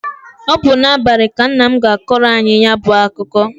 Ọ bụ n'abalị ka nna m ga-akọrọ anyị ya bụ akụkọ.